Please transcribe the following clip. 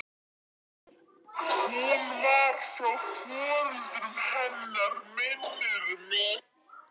Hún var frá foreldrum hennar minnir mig.